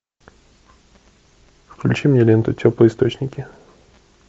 включи мне ленту теплые источники